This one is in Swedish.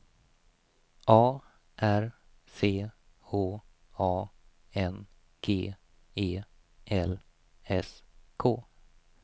A R C H A N G E L S K